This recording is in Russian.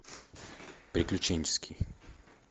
приключенческий